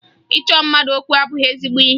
Ịchọ mmadụ okwu abụghị ezigbo ihe